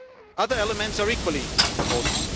year. Other elements are equally important.